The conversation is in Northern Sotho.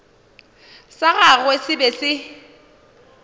sa gagwe se be se